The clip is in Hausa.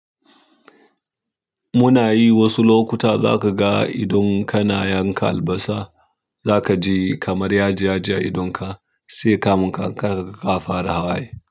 Muna yi wasu lokuta za ka ga idon ka na yanka albasa, za ka ji kamar yaji-yaji a idonka sai kamun ka, ka ka fara hawaye.